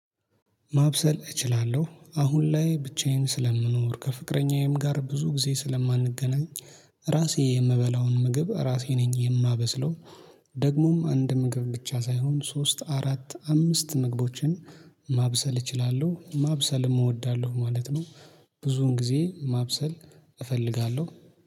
ማብሰል እችላለሁ አሁን ላይ ብቻዬን ስለምኖር ከፍቅረኛዬም ጋር ብዙ ጊዜ ስለማንገናኝ ራሴ የምበላውን ምግብ ራሴ ነኝ የማበስለው። ደግሞም አንድ ምግብ ብቻ ሳይሆን ሶስት አራት አምስት ምግቦችን ማብሰል እችላለሁ ማብሰልም እወዳለሁ ማለት ነው። ብዙን ጊዜ ማብሰል እፈልጋለሁ